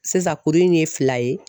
Sisan kuru in ye fila ye